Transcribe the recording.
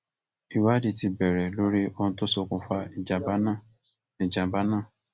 ìwádìí ti bẹrẹ lórí ohun tó ṣokùnfà ìjàmbá náà ìjàmbá náà